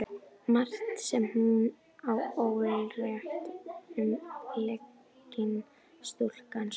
Margt sem hún á ólært um lygina, stúlkan sú.